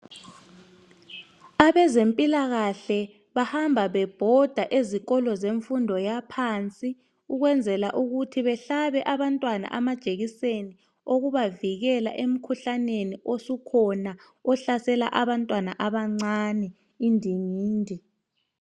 Abezimpilakahle bahamba bebhoda ezikolo zemfundo yaphansi ukwenzela ukuthi behlabe abantwana amajekiseni okubavikeleni emikhuhlaneni osukhona ohlasela abantwana abancane indingindi.